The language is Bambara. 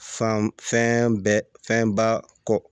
Fan fɛn bɛɛ fɛnba kɔ